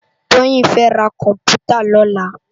Toyin fè rá kòmpútá lòlá